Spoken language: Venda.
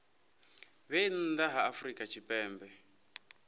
vhe nnḓa ha afrika tshipembe